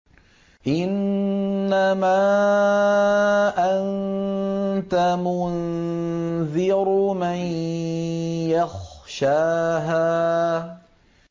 إِنَّمَا أَنتَ مُنذِرُ مَن يَخْشَاهَا